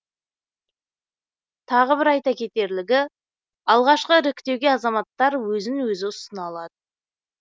тағы бір айта кетерлігі алғашқы іріктеуге азаматтар өзін өзі ұсына алады